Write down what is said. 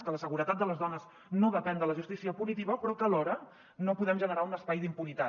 que la seguretat de les dones no depèn de la justícia punitiva però que alhora no podem generar un espai d’impunitat